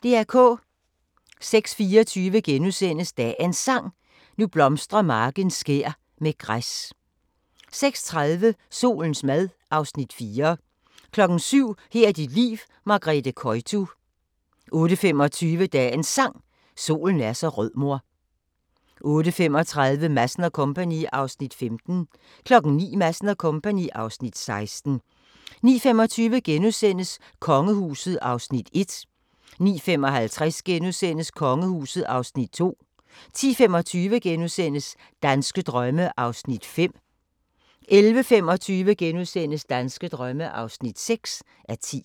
06:24: Dagens Sang: Nu blomstrer marken skær med græs * 06:30: Solens mad (Afs. 4) 07:00: Her er dit liv – Margrethe Koytu 08:25: Dagens Sang: Solen er så rød mor 08:35: Madsen & Co. (Afs. 15) 09:00: Madsen & Co. (Afs. 16) 09:25: Kongehuset (Afs. 1)* 09:55: Kongehuset (Afs. 2)* 10:25: Danske drømme (5:10)* 11:25: Danske drømme (6:10)*